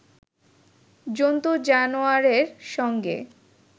জন্তু-জানওয়ারের সঙ্গে